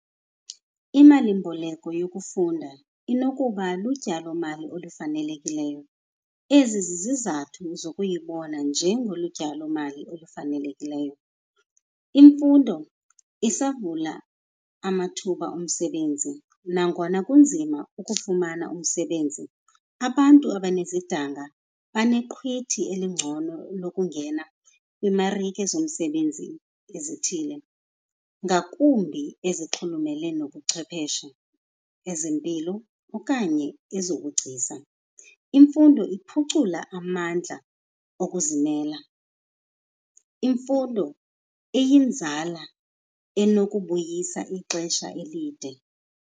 Imalimboleko yokufunda inokuba lutyalomali olufanelekileyo. Ezi zizizathu zokuyibona njengolu tyalomali olufanelekileyo. Imfundo isavula amathuba omsebenzi, nangona kunzima ukufumana umsebenzi abantu abanezidanga baneqhwithi elingcono lokungena kwiimarike zomsebenzi ezithile, ngakumbi ezixhulumele nobuchwepheshe, ezempilo okanye ezobugcisa. Imfundo iphucula amandla okuzimela, imfundo iyinzala enokubuyisa ixesha elide.